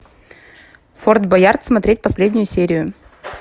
форт боярд смотреть последнюю серию